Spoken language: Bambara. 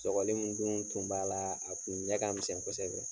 Sɔgɔli min dun kun b'a la, a kun ɲɛ ka misɛn kosɛbɛ.